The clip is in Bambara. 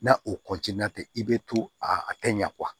N'a o tɛ i bɛ to a kɛ ɲa